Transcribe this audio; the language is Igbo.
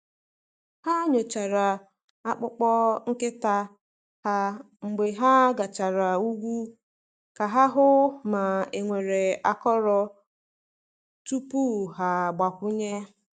Ha nyochara akpụkpọ nkịta ha mgbe ha gachara ugwu ka ha hụ ma e nwere akọrọ tupu ha agbakwunye.